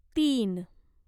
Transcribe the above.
तीन